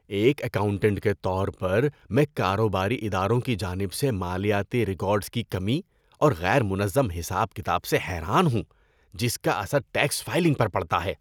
ایک اکاؤنٹنٹ کے طور پر، میں کاروباری اداروں کی جانب سے مالیاتی ریکارڈز کی کمی اور غیر منظم حساب کتاب سے حیران ہوں جس کا اثر ٹیکس فائلنگ پر پڑتا ہے۔